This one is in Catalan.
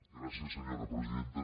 gràcies senyora presidenta